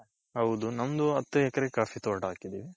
ಹೌದು ನಮ್ದು ಹತ್ತು ಎಕ್ರೆ coffee ತೋಟ ಹಾಕಿದ್ದೀವಿ.